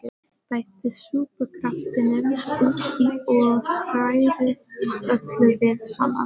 Bætið súpukraftinum út í og hrærið öllu vel saman.